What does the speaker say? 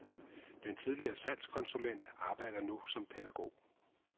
Den tidligere salgskonsulent arbejder nu som pædagog.